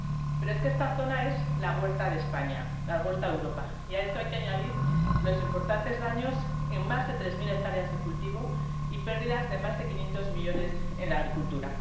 Pero es que esta zona es la huerta de España, la huerta de Europa, y a esto hay que añadir los importantes daños en más de tres mil hectáreas de cultivo y pérdidas de más de 500 millones en la agricultura.